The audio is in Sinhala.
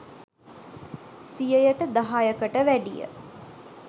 සියයට දහයකට වැඩිය